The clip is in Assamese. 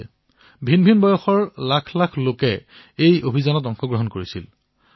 লক্ষাধিক সংখ্যাত বিভিন্ন বয়সৰ ব্যক্তিয়ে গ্ৰন্থ অধ্যয়ন কৰাৰ এই অভিযানত অংশগ্ৰহণ কৰিলে